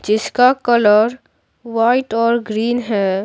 जिसका colour white और green है।